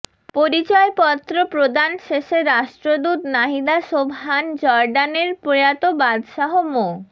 পরিচয়পত্র প্রদান শেষে রাষ্ট্রদূত নাহিদা সোবহান জর্ডানের প্রয়াত বাদশাহ মো